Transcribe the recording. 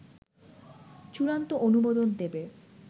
চূড়ান্ত অনুমোদন দেবে